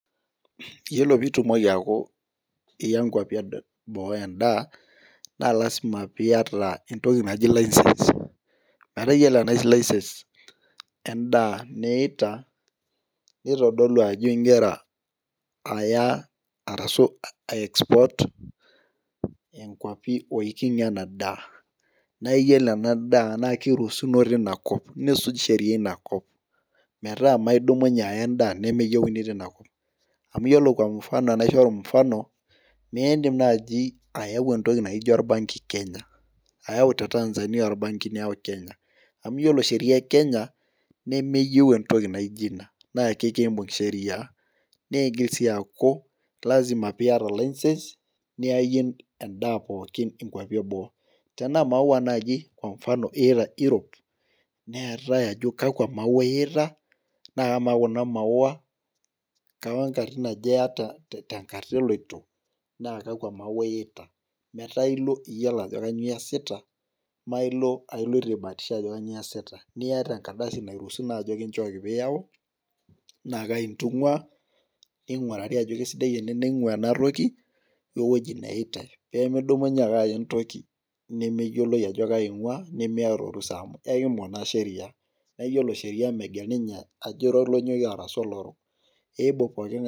Iyiolo pee itumoki aaku iya nkuapi eboo edaa. naa lazima pee iyata entoki naji license. iyiolo ena license edaa niita. nitodolu ajo igira aya, arashu ae export inkuapi oiking'a ena daa. naa iyiolo ena daa naa kiruusuno teina kop. nisuj Sheria eina kop. metaa ime idumunye aya edaa nemeyiouni teina kop. amu iyiolo Kwa mfano enaishoru mfano miidim naaji ayau entoki naijo orbanki kenya. ayau te Tanzania orbanki niyau kenya. amu iyiolo Sheria e Kenya nemeyieu entoki naijo ina. naa ekibung' sheria. naa igili sii aaku lasima pee iyata license .niyayie edaa pookin inkuapi eboo. tenaa maua naaji Kwa mfano irup. neetae ajo kakua maswali iyita, naa kamaa Kuna maswali kenkatitin aja iyata te nkata eloito. naa kakua maswali iyita. metaa ilo iyiolo ajo kainyioo iyasita. mme ilo iloito aibaatisha ajo kainyioo iyasita. niyat enkardasi nairuusuno aje kinchooki pee iyau, naa Kai intung'ua. ning'urari ajo kisidai ene. naing'ua ina toki. We wueji neyita. nemedumunye ake aya entoki nemeyioloi ajo Kai einguaa, nimiata orusa amu ekibung' naa sheria. naa iyiolo Sheria megel ninye ajo ira olonyokie arashu olorok, iimbung' pookingae.